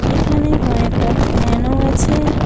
এখানে কয়েকটা ফ্যানও আছে।